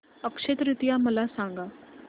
अक्षय तृतीया मला सांगा